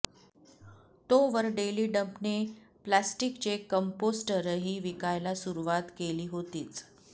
तोवर डेली डंपने प्लॅस्टिकचे कंपोस्टरही विकायला सुरुवात केली होतीच